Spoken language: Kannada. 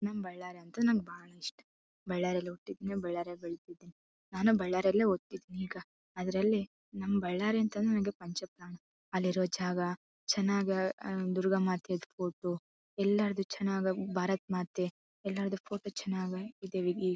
ನಮ್ಮ್ ಬಳ್ಳಾರಿ ಅಂದ್ರೆ ನಮಗೆ ಬಾಳ ಇಷ್ಟ. ಬಳ್ಳಾರೀಲಿ ಹುಟ್ಟಿದ್ದು ನಾನು ಬಳ್ಳಾರೀಲಿ ಹುಟ್ಟಿದ್ದು . ಅದ್ರಲ್ಲಿ ನಮ್ಮ್ ಬಳ್ಳಾರಿ ಅಂತಂದ್ರ ನನಗ್ ಪಂಚಪ್ರಾಣ. ಅಲ್ಲಿರೋ ಜಾಗ ಚೆನ್ನಾಗಿ ದುರ್ಗಾ ಮಾತೆ ಫೋಟೋ ಎಲ್ಲದು ಚೆನ್ನಾಗಿ ಭಾರತ್ ಮಾತೆ ಎಲ್ಲರದೂ ಫೋಟೊ ಚೆನ್ನಾಗ್ ಇದೇ ಇ--